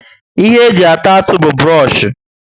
Ihe eji ata atụ bu buroshi